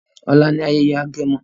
ọlá ní ayẹyẹ agẹmọ.